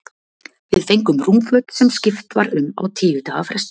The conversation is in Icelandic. Við fengum rúmföt, sem skipt var um á tíu daga fresti.